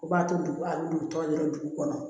O b'a to dugu a bɛ dugu tɔn dɔrɔn dugu kɔnɔ